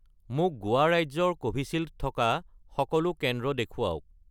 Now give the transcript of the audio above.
মোক গোৱা ৰাজ্যৰ কোভিচিল্ড থকা সকলো কেন্দ্ৰ দেখুৱাওক